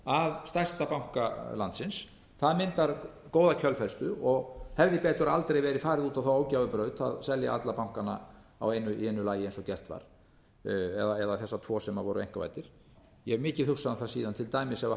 að stærsta banka landsins það myndar góða kjölfestu og hefði betur aldrei verið farið út á ógæfubrautina að selja alla bankana í einu lagi eins og gert var eða þessa tvo sem voru einkavæddir ég hef mikið hugsað um það síðan til dæmis ef